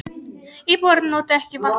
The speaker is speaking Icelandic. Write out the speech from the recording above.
Íbúarnir noti ekki vatnskerfið